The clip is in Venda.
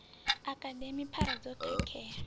a akademi phara dzo khakhea